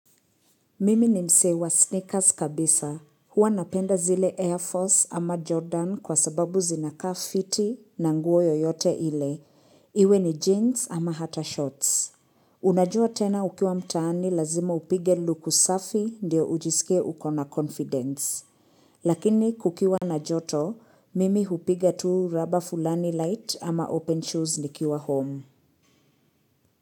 Mimi ni msee wa sneakers kabisa. Huwa napenda zile Air Force ama Jordan kwa sababu zinakaa fiti na nguo yoyote ile. Iwe ni jeans ama hata shorts. Unajua tena ukiwa mtaani lazima upige luku safi ndio ujisikie uko na confidence. Lakini kukiwa na joto, mimi hupiga tu raba fulani light ama open shoes nikiwa home.